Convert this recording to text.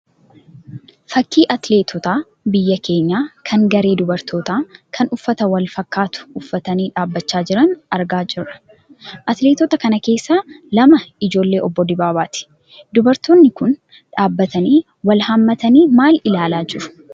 Fakkii atileetota biyya keenyaa kan garee dubartootaa kan uffata wal fakkaatu uffatanii dhaabbachaa jiran argaa jirra. Atileetota kana keessaa lama ijoollee obbo Dibaabaati. Dubartoonni kun dhaabbatanii wal hammatanii maal ilaalaa jiru?